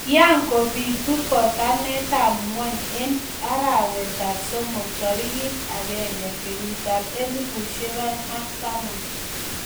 Kiakobitu botanetab ng'uny eng arawetab somok tarik akenge 2010.